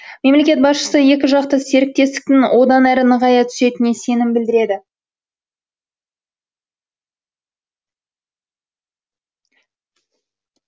мемлекет басшысы екіжақты серіктестіктің одан әрі нығая түсетініне сенім білдіреді